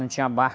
Não tinha barco.